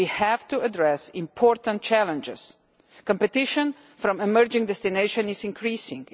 We have to address important challenges competition from emerging destinations is increasing.